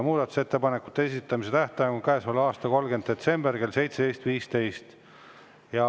Muudatusettepanekute esitamise tähtaeg on käesoleva aasta 30. detsember kell 17.15.